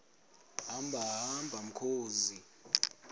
hamba hamba mkhozi